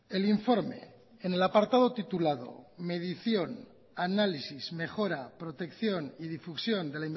el informe en el apartado titulado medición análisis mejora protección y difusión de